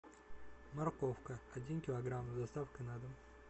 морковка один килограмм с доставкой на дом